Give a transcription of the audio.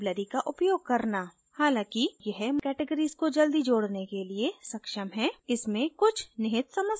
हालांकि यह categories को जल्दी जोडने के लिए सक्षम है इसमें कुछ निहित समस्याएँ है